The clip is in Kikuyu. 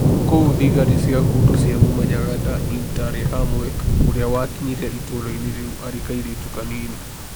Kũu thigari cia Hutu ciamũmenyaga ta 'Interahamwe' . ũrĩa wakinyire itũũra-inĩ rĩu arĩ kairĩtu kanini.